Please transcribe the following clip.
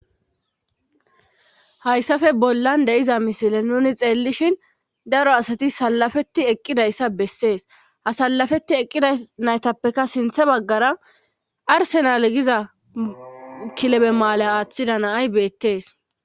Hayssafe bollan deiza misile nuni xeellishin daro asati salafeti eqqidayssa bessees ha sallafeti eqqida naytappeka sinthe baggara arsenal giza kilebe maala aaththida naay beettees.